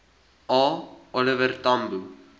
a oliver tambo